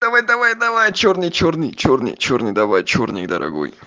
давай давай давай чёрный чёрный чёрный чёрный давай чёрный дорогой